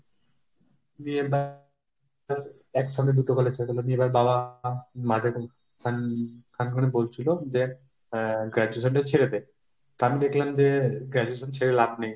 নিয়ে ব্যাস একসাথে দুটো college হয়ে গেল। নিয়ে এবার বাবা মাঝ~ খান~ খান করে বলছিল যে আহ graduation টা ছেড়ে দে। তা আমি দেখলাম যে graduation ছেড়ে লাভ নেই।